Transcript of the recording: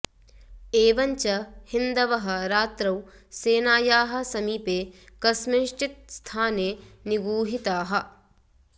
एवञ्च हिन्दवः रात्रौ सेनायाः समीपे कस्मिँश्चित् स्थाने निगूहिताः